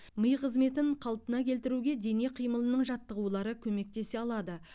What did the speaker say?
ми қызметін қалпына келтіруге дене қимылының жаттығулары көмектесе алады